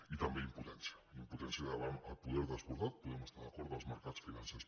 i també impotència impotència davant el poder descordat hi podem estar d’acord dels mercats financers